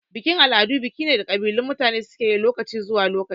Bikin-al'adu biki ne da kabilun mutane suke lokaci zuwa lokaci.